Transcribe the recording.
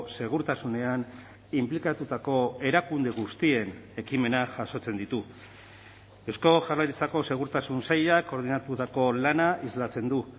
segurtasunean inplikatutako erakunde guztien ekimenak jasotzen ditu eusko jaurlaritzako segurtasun sailak koordinatutako lana islatzen du